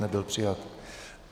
Nebyl přijat.